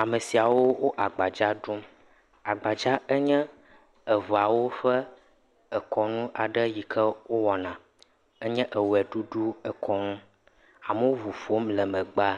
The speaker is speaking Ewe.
Ame siawo agbadza ɖum. Agbadza nye Eʋeawo ƒe dekɔnu yike wò woana. Enye ewɔ ɖuɖu yike wò woana. Amewo ʋuƒom le megbea,